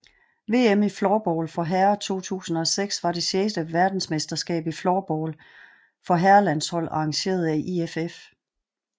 VM i floorball for herrer 2006 var det sjette vedensmesterskab i floorball for herrelandshold arrangeret af IFF